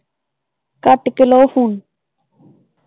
ਕੱਟ ਕੇ ਲਾਓ ਫੋਨ